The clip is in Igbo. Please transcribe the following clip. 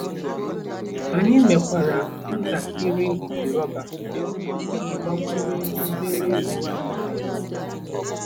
Anyị mekwara ntakịrị ịpị rọba iji gbakwunye obere ego anyị na-enweta.